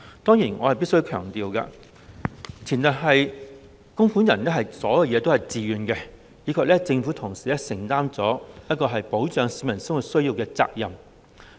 當然，我必須強調，此制度的前提是供款人自願供款，以及政府同時承擔了保障市民生活需要的責任。